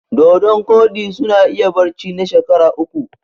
Dodon ƙodi suna iya barci na shekara uku